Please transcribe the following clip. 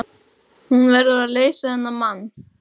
Hún verður að leysa þennan mann.